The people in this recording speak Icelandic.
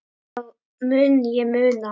Það mun ég muna.